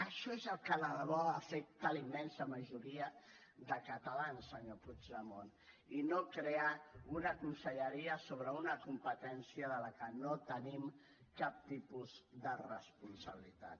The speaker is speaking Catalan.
això és el que de debò afecta la immensa majoria de catalans senyor puigdemont i no crear una conselleria sobre una competència de la qual no tenim cap tipus de responsabilitat